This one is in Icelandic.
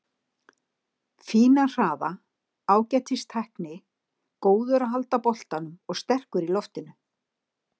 Fínan hraða, ágætis tækni, góður að halda boltanum og sterkur í loftinu.